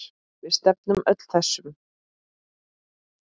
Við stefnum öllum þessum